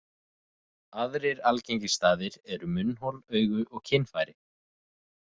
Aðrir algengir staðir eru munnhol, augu og kynfæri.